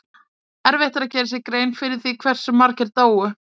Erfitt er að gera sér grein fyrir því hve margir dóu.